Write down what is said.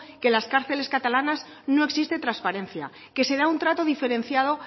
que en las cárceles catalanas no existe trasparencia que se da un trato diferenciado